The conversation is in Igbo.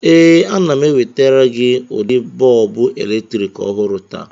Ee, ana m ewetara gị ụdị bọlbụ eletrik ọhụrụ taa.